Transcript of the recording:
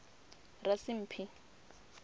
rasimphi